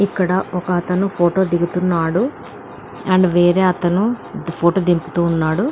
ఇక్కడ ఒక అతను ఫోటో దిగుతున్నాడు. వేరే అతని ఫోటో దింపుతున్నాడు.